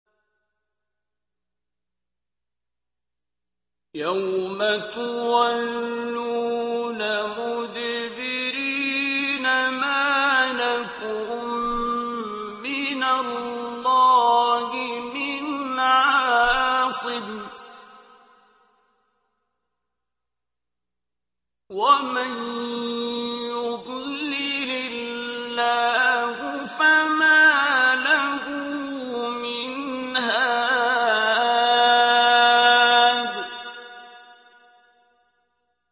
يَوْمَ تُوَلُّونَ مُدْبِرِينَ مَا لَكُم مِّنَ اللَّهِ مِنْ عَاصِمٍ ۗ وَمَن يُضْلِلِ اللَّهُ فَمَا لَهُ مِنْ هَادٍ